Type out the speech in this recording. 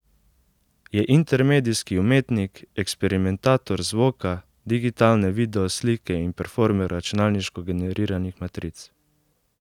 Je intermedijski umetnik, eksperimentator zvoka, digitalne video slike in performer računalniško generiranih matric.